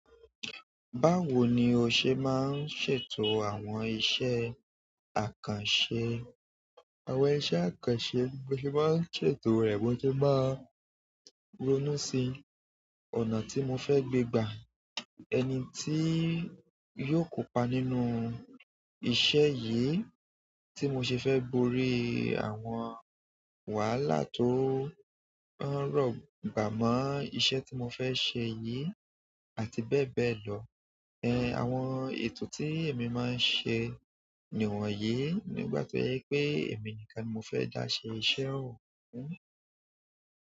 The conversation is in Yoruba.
Báwo ni o ṣe máa ń ṣètò àwọn iṣẹ́ àkànṣe, àwọn iṣẹ́ àkànṣe bí mo ṣe máa ń ṣètò rẹ̀ mó se máa ronú sí ọ̀nà tí mo fẹ́ gbé gbà, ẹni tí yóò kópa nínú iṣẹ́ yìí tí mo ṣe fẹ́ borí àwọn wàhálà tó ń rọ̀gbà mọ́ iṣẹ́ tí mo fẹ́ ṣe yìí àti bẹ́ẹ̀ bẹ́ẹ̀ lọ. Ẹ̀, àwọn ètò tí èmi máa ń ṣe ni wọ̀nyí, nígbà tí ó yẹ pé èmi nìkan ni mo fẹ́ dá ṣe iṣẹ́ ọun.